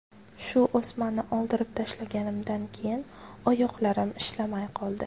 Shu o‘smani oldirib tashlaganimdan keyin oyoqlarim ishlamay qoldi.